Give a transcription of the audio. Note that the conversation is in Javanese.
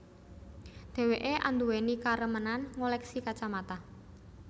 Dheweké anduweni karemenan ngoleksi kacamata